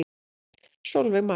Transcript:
Sólveig María.